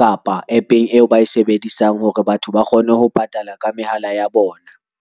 kapa APP-eng eo ba e sebedisang hore batho ba kgone ho patala ka mehala ya bona.